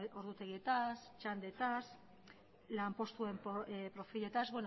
ordutegietaz txandetaz lanpostuen profiletaz